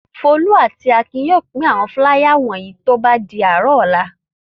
Folú àti Akin yóò pín àwọn fúláyà wọ̀nyí tó bá di àárọ̀.